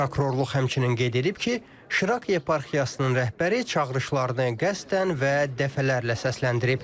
Prokurorluq həmçinin qeyd edib ki, Şirak yeparxiyasının rəhbəri çağırışlarını qəsdən və dəfələrlə səsləndirib.